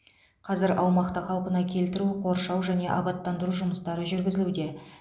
қазір аумақты қалпына келтіру қоршау және абаттандыру жұмыстары жүргізілуде